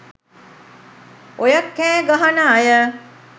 ඔය කෑ ගහන අය